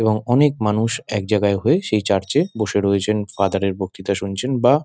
এবং অনেক মানুষ একজায়গায় হয়ে সেই চার্চ এ বসে রয়েছেন ফাদার এর বক্তিতা শুনছেন বা--